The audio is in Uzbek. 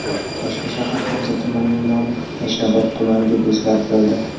Toshkent shahar Hamza tumanining nomi Yashnobod tumani deb o‘zgartirildi.